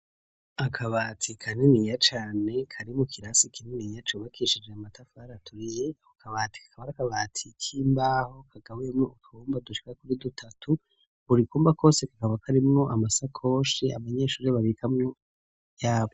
akabati kaniniya cane kari mu kirasi kininiya cubakishije amatafari aturiye, ako kabati kakaba ari akabati k'imbaho kagabuyemo utwumba dushika kuri dutatu, buri kumba kose kaba karimwo amasakoshi abanyeshuri babikamwo ivyabo.